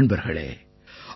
நண்பர்களே